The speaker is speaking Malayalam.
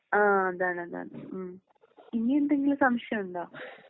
ആഹ് അതാണ് അതാണ്.ഇനിയെന്തെങ്കിലും സംശയമുണ്ടോ?